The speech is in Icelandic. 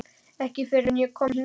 Ekki fyrr en ég kom hingað.